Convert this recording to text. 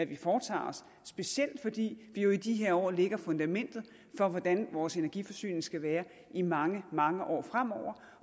vi foretager os specielt fordi vi jo i de her år lægger fundamentet for hvordan vores energiforsyning skal være i mange mange år fremover